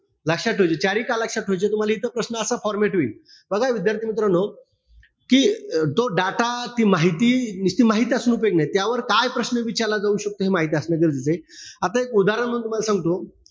लक्षात ठेवायचे. चारी का लक्षात ठेवायचे तुम्हला हे इथं प्रश्न असा format होईल. बघा विद्यार्थीमित्रांनो, कि तो data, ती माहिती, निसती माहित असून उपायोग नाही. का प्रश्न विचारला जाऊ शकतो हे माहिती असणं गरजेचंय. आता एक उदाहरण म्हणून तुम्हाला सांगतो.